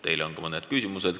Teile on ka mõned küsimused.